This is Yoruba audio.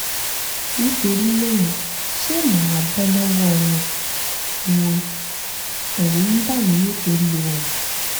nítorí náà ṣé màá bọ́ lọ́wọ́ wọn? wọn? ẹ̀rù ń bà mí nítorí wọn